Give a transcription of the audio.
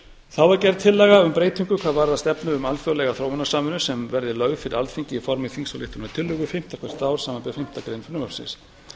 þá er gerð tillaga um breytingu hvað varðar stefnu um alþjóðlega þróunarsamvinnu sem verði lögð fyrir alþingi í formi þingsályktunartillögu fimmta hvert ár samanber fimmtu grein frumvarpsins